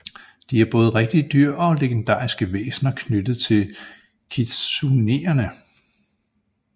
De er både rigtige dyr og legendariske væsner knyttet til kitsuneerne